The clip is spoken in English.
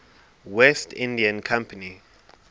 west india company